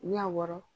N'i y'a wɔrɔ